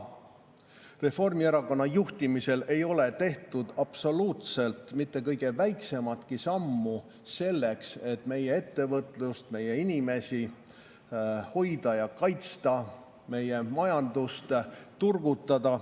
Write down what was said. Reformierakonna juhtimisel ei ole tehtud absoluutselt mitte kõige väiksematki sammu selleks, et meie ettevõtlust, meie inimesi hoida ja kaitsta, meie majandust turgutada.